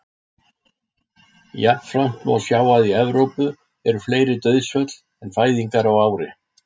Jafnframt má sjá að í Evrópu eru fleiri dauðsföll en fæðingar á ári.